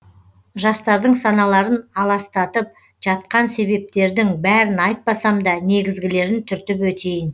жастардың саналарын аластатып жатқан себептердің бәрін айтпасам да негізгілерін түртіп өтейін